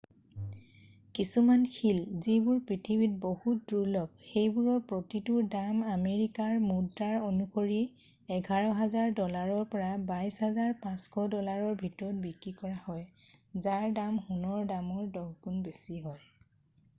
কিছুমান শিল যিবোৰ পৃথিৱীত বহুত দুৰ্লভ সেইবোৰৰ প্ৰতিটোৰ দাম আমেৰিকাৰ মুদ্ৰা অনুসৰি 11,000 ডলাৰৰ পৰা 22,500 ডলাৰৰ ভিতৰত বিক্ৰী কৰা হয় যাৰ দাম সোণৰ দামৰ দহ গুণ বেছি হয়